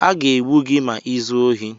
A ga-egbu gị ma i zuo ohi ọzọ!